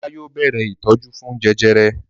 Ọlá yóò bẹ̀rẹ̀ ìtọ́jú fún jẹjẹrẹ.